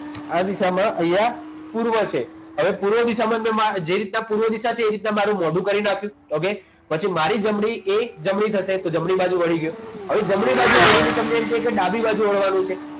આ દિશામાં અહીંયા પૂર્વ છે હવે પૂર્વ દિશામાં તમારે જે રીતના પૂર્વ દિશા છે એ રીતના મારું મોઢું ફેરવી નાખ્યું પછી okay મારી જમણી થશે તો મારી જમણી બાજુ વાળીને તમને કહેવાય ડાબી બાજુ જોડવાનું છે વળવાનું છે